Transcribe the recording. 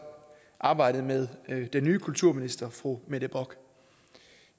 arbejdet med den nye kulturminister fru mette bock